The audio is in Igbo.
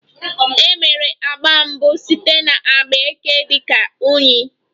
E mere agba mbụ site na agba eke dị ka unyi